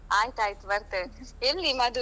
ಹ ಆಯ್ತಾಯ್ತು ಬರ್ತೇವೆ. ಎಲ್ಲಿ ಮದುವೆ?